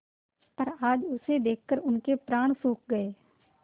पर आज उसे देखकर उनके प्राण सूख गये